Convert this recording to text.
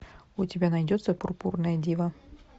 у тебя найдется пурпурная дива